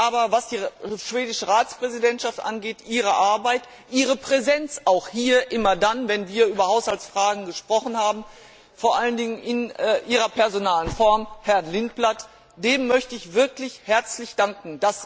Aber der schwedischen Ratspräsidentschaft ihrer Arbeit, ihrer Präsenz auch immer dann, wenn wir über Haushaltsfragen gesprochen haben, vor allen Dingen in ihrer personalen Form, Herrn Lindblad, möchte ich wirklich herzlich danken.